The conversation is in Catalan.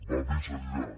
va més enllà